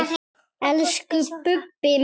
Elsku Bubbi minn.